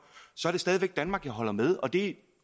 så er det stadig væk danmark jeg holder med og det